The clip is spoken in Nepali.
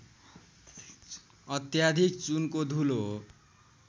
अत्याधिक चुनको धुलो